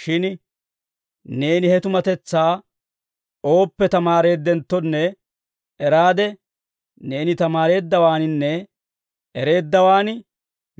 Shin neeni he tumatetsaa ooppe tamaareeddenttonne eraade, neeni tamaareeddawaaninne ereeddawaan